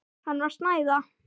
Hann var að snæða.